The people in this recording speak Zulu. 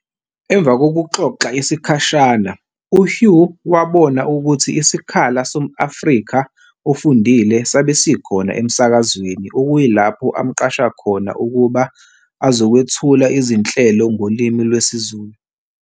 Emva kokuxoxa isikhashana uHugh wawabona ukutji isikhala som-Afrika ofundile sabe sikhona emsakazweni okuyilapho amqasha khona ukuba azokwethula izinhlelo ngolimi lwesiZulu.